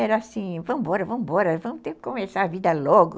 Era assim, vamos embora, vamos embora, vamos começar a vida logo.